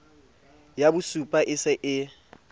ya bosupa e se e